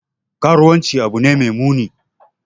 Karuwanci abu ne mai muni.